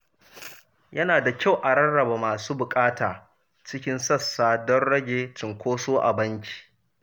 Yana da kyau a rarraba masu buƙata cikin sassa don rage cinkoso a banki.